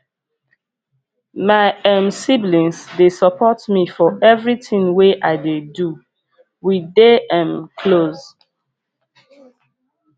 my um siblings dey support me for everytin wey i dey do we dey um close